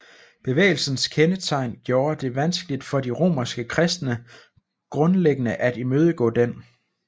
Bevægelsens kendetegn gjorde det vanskeligt for de romerske kristne grundlæggende at imødegå den